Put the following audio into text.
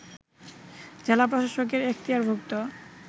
জেলা প্রশাসকের এখতিয়ারভুক্ত